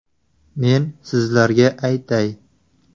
Men sizlarga aytay.